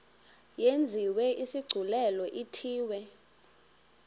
yenziwe isigculelo ithiwe